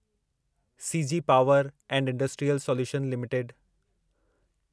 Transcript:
CG power and industrial solution limited